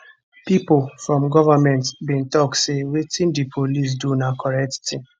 pipo from goment bin tok say wetin di police do na correct tin